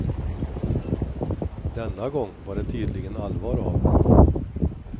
Denna gång var det tydligen allvar av.